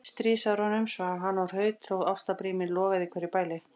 stríðsárunum svaf hann og hraut þótt ástarbríminn logaði í hverju bæli.